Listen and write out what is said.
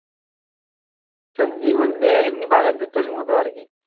সবজি বলতে এমনি বাগান চচ্চড়ির মতো আর কি